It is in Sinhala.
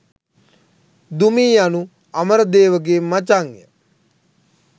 දුමී යනු අමරදේව ගේ මචං ය.